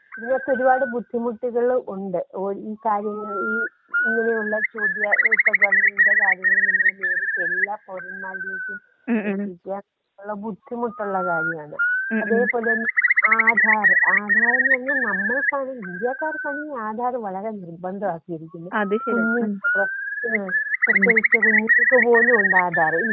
ഇതിനൊക്കെ ഒരുപാട് ബുദ്ധിമുട്ടുകള്ളുണ്ട് ഒരു ഈ കാര്യങ്ങൾ ഈ ഇങ്ങനെയുള്ള ചോദ്യാ ഇപ്പോ ഗവൺമെന്റിന്റെ കാര്യങ്ങൾ നമ്മൾ എല്ലാ ഫോർമാലിറ്റീസും പൂരിപ്പിക്കുക ബുദ്ധിമുട്ടുള്ള കാര്യാണ്. അതേപോലെ തന്നെ ആധാറ്.ആധാറ് എന്ന് പറഞ്ഞാ നമ്മൾക്കാണ് ഇന്ത്യക്കാർക്കാണ് ഈ ആധാറ് വളരെ നിർബന്ധാക്കിയിരിക്കുന്നേ. *നോട്ട്‌ ക്ലിയർ* പ്രത്യേകിച്ച് കുഞ്ഞുങ്ങൾക്ക് പോലും ഉണ്ട് ആധാർ ഇല്ലേ?